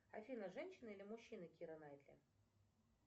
афина женщина или мужчина кира найтли